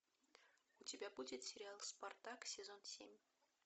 у тебя будет сериал спартак сезон семь